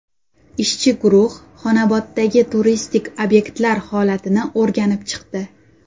Ishchi guruh Xonoboddagi turistik obyektlar holatini o‘rganib chiqdi.